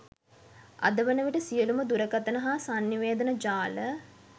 අදවන විට සියලුම දුරකථන හා සන්නිවේදන ජාල